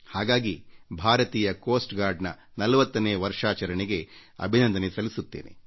ಹಾಗಾಗಿ ಭಾರತೀಯ ಕರಾವಳಿ ಭದ್ರತಾ ಪಡೆಯ 40ನೇ ವರ್ಷಾಚರಣೆಗೆ ಅಭಿನಂದನೆ ಸಲ್ಲಿಸುತ್ತೇನೆ